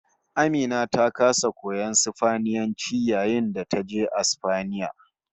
AMina ta kasa koyon Sifaniyanci yayin da taje Asfaniya